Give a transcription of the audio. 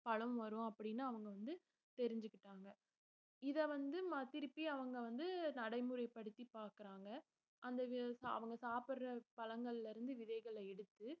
பழம் வரும் அப்படின்னு அவங்க வந்து தெரிஞ்சுக்கிட்டாங்க இத வந்து ம~ திருப்பி அவங்க வந்து நடைமுறைப்படுத்தி பாக்குறாங்க அந்த வு~ அவங்க சாப்பிடுற பழங்கள்ல இருந்து விதைகள எடுத்து